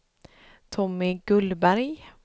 Tommy Gullberg